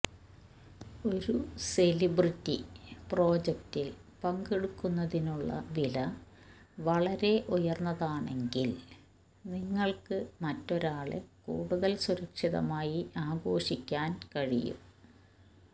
ഒരു സെലിബ്രിറ്റി പ്രോജക്റ്റിൽ പങ്കെടുക്കുന്നതിനുള്ള വില വളരെ ഉയർന്നതാണെങ്കിൽ നിങ്ങൾക്ക് മറ്റൊരാളെ കൂടുതൽ സുരക്ഷിതമായി ആഘോഷിക്കാൻ കഴിയും